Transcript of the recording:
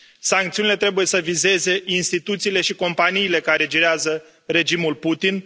Sancțiunile trebuie să vizeze instituțiile și companiile care girează regimul Putin.